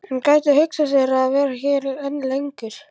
En gæti hún hugsað sér að vera hér enn lengur?